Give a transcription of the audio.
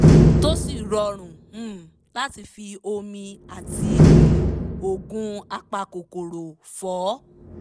tó sì rọrùn um láti fi omi àti um oògùn apakòkòrò fọ